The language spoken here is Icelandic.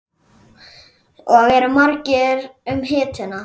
Og eru margir um hituna?